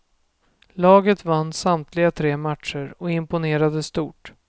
Laget vann samtliga tre matcher och imponerade stort.